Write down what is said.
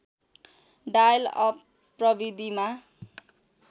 dial up प्रविधिमा